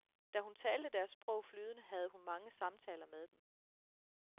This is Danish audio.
Da hun talte deres sprog flydende havde hun mange samtaler med dem.